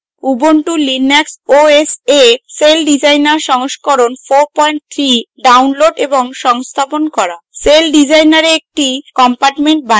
ubuntu linux os a celldesigner সংস্করণ 43 download এবং সংস্থাপন করা celldesigner a একটি compartment বানানো